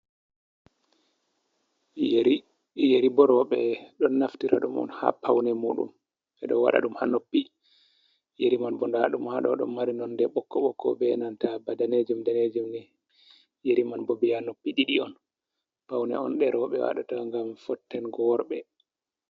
Yeri. Yeri bo rowɓe ɗo naftira ɗum on haa paune muɗum, ɓe ɗo waɗa ɗum haa noppi. Yeri man bo nda ɗum haa ɗo ɗo mari nonde ɓokko-ɓokko be nanta ba danejem-danejem ni. Yeri man bo biya noppi ɗiɗi on, paune on nde rowɓe wadata ngam fottengo worɓe.